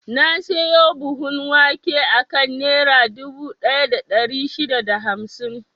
Na siyo buhun wake akan Nera dubu ɗaya da ɗari shida da hamsin.